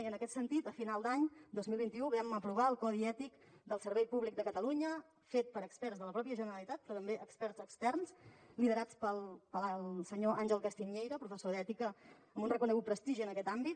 i en aquest sentit a final d’any dos mil vint u vam aprovar el codi ètic del servei públic de catalunya fet per experts de la mateixa generalitat però també experts externs liderats pel senyor àngel castiñeira professor d’ètica amb un reconegut prestigi en aquest àmbit